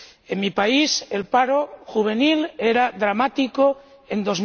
En mi país, el paro juvenil era dramático en